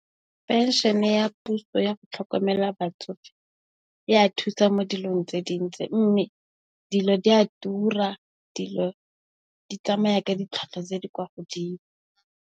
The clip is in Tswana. Phenšene ya puso ya go tlhokomela batsofe e a thusa mo dilong tse dintsi mme, dilo di a tura, dilo di tsamaya ka ditlhwatlhwa tse di kwa godimo.